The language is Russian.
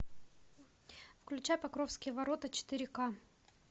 включай покровские ворота четыре к